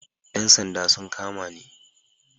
Yan sanda sun kama ni